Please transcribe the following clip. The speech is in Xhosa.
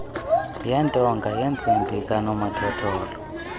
yentonga yentsimbi kanomathotholo